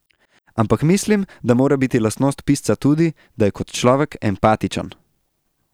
Ampak mislim, da mora biti lastnost pisca tudi, da je kot človek empatičen.